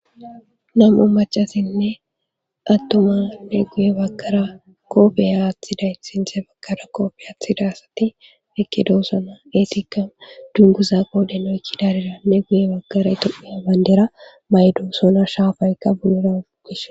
Namu macasinne attomane guye baggara koofeya aathiday sinte baggara koofe aathida asati ekke doosana eesikka dunguza qoodhen oykkidaarira ne guye baggara yitoeya bandera maydo sona shaafaykka bunura ugis.